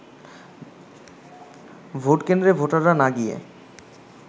ভোটকেন্দ্রে ভোটাররা না গিয়ে